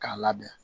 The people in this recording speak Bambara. K'a labɛn